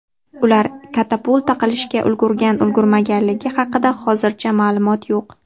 Ular katapulta qilishga ulgurgan-ulgurmaganligi haqida hozircha ma’lumot yo‘q.